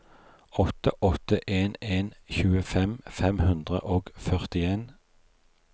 åtte åtte en en tjuefem fem hundre og førtien